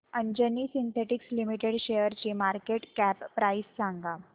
Anjani synthetics limited शेअरची market cap price सांगा